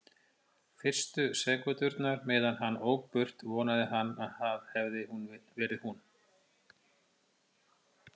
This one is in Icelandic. Fyrstu sekúndurnar meðan hann ók burt vonaði hann að það hefði verið hún.